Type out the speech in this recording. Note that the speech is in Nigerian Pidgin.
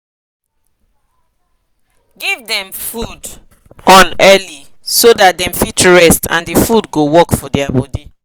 give them food on early so that them fit rest and the food go work for their body